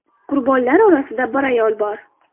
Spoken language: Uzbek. Qurbonlar orasida bir ayol bor.